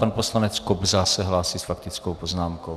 Pan poslanec Kobza se hlásí s faktickou poznámkou.